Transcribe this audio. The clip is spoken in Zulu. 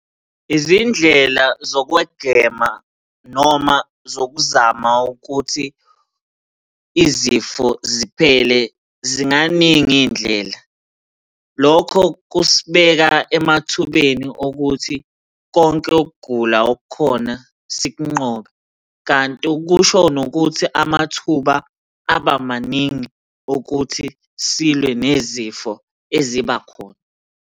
Izindlela zokwegema noma zokuzama ukuthi izifo ziphele, zinganingi iy'ndlela. Lokho kusibeka emathubeni okuthi konke ukugula okukhona sikunqobe, kanti kusho nokuthi amathuba aba maningi okuthi silwe nezifo ezibakhona.